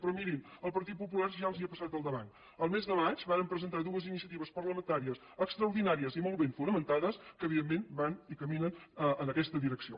però mirin el partit popular ja els ha passat al davant el mes de maig vàrem presentar dues iniciatives parlamentàries extraordinàries i molt ben fonamentades que evidentment van i caminen en aquesta direcció